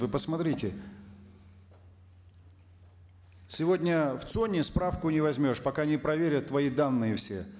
вы посмотрите сегодня в цон е справку не возьмешь пока не проверят твои данные все